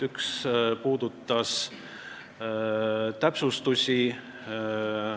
Üks puudutas täpsustusi.